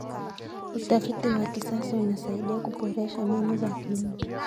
Utafiti wa kisasa unasaidia kuboresha mbinu za kilimo.